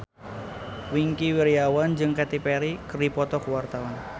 Wingky Wiryawan jeung Katy Perry keur dipoto ku wartawan